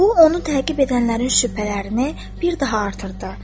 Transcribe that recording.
Bu onu təqib edənlərin şübhələrini bir daha artırdı.